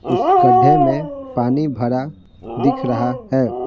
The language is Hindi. उस गड्ढे में पानी भरा दिख रहा है।